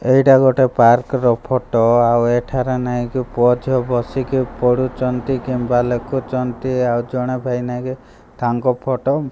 ଏହିଟା ଗୋଟେ ପାର୍କ ର ଫଟୋ ଆଉ ଏଠାରେ ପୁଅ ଝିଅ ବସିକି ପଢୁଚନ୍ତି କିମ୍ବା ଲେଖୁଚନ୍ତି ଆଉ ଜଣେ ଭାଇନା କେ ତାଙ୍କ ଫଟୋ --